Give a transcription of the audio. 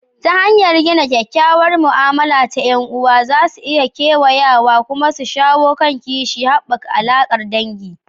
Ta hanyar gina kyakkyawar mu'amala ta 'yan'uwa za su iya kewayawa kuma su shawo kan kishi, haɓaka alaƙar dangi